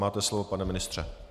Máte slovo, pane ministře.